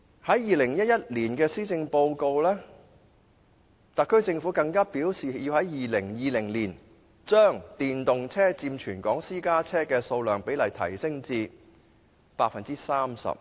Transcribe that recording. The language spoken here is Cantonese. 在2011年施政報告內，特區政府更表示要在2020年將電動車佔全港私家車的數量比例提升至 30%。